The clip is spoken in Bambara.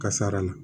Kasara la